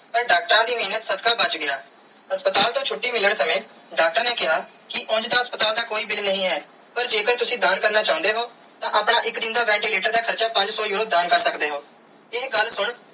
ਪਾਰ ਡਾਕਟਰਾਂ ਦੀ ਮੇਹਰ ਸਦਕੇ ਬਚ ਗਿਆ ਹਸਪਤਾਲ ਤੂੰ ਛੁਟੀ ਮਿਲਣ ਸਮੇ ਡਾਕਟਰ ਨੇ ਕੀਆ ਕੇ ਉਂਜ ਤੇ ਹਸਪਤਾਲ ਦਾ ਕੋਈ bill ਨਾਈ ਹੈ ਪਾਰ ਜੇ ਕਰ ਤੁਸੀਂ ਦਾਨ ਕਰਨਾ ਚਾਨੇ ਹੋ ਤੇ ਆਪਣਾ ਇਕ ਦਿਨ ਦਾ ventilator ਦਾ ਹਾਰਚਾ ਪੰਜ ਸੋ euro ਦਾਨ ਕਰ ਸਕਦੇ ਓ ਇਹ ਗੱਲ ਸੁਨ.